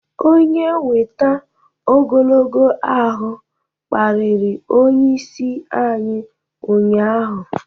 Onye weita ogologo ahụ kparịrị onyeisi anyị ụnyahụ